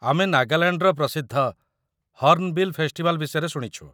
ଆମେ ନାଗାଲାଣ୍ଡର ପ୍ରସିଦ୍ଧ 'ହର୍ଣ୍ଣବିଲ୍ ଫେଷ୍ଟିଭାଲ୍' ବିଷୟରେ ଶୁଣିଛୁ ।